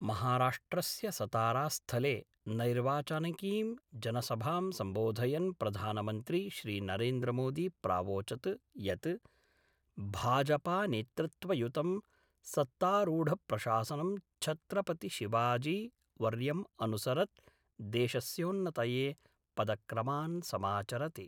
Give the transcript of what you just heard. महाराष्ट्रस्य सतारास्थले नैर्वाचानिकीं जनसभां सम्बोधयन् प्रधानमन्त्री श्रीनरेन्द्रमोदी प्रावोचद् यत् भाजपानेतृत्वयुतं सत्तारूढप्रशासनं छत्रपति शिवाजीवर्यम् अनुसरत् देशस्योन्नतये पदक्रमान् समाचरति।